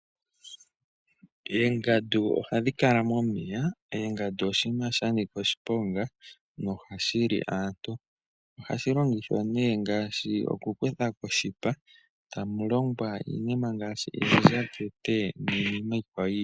Oongandu ohadhi kala momeya, oongandu oshinima sha nika oshiponga noha shili aantu , ohashi longithwa nee ngaashi okukuthako oshipa tamu longwa iinima ngaashi oondjakete niinima iikwawo yiili.